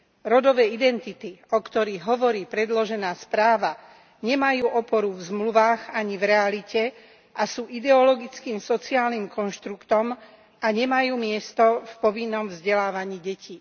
Rodové identity, o ktorých hovorí predložená správa, nemajú oporu v zmluvách ani v realite a sú ideologickým sociálnym konštruktom a nemajú miesto v povinnom vzdelávaní detí.